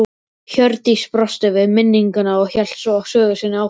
Hjördís brosti við minninguna og hélt svo sögu sinni áfram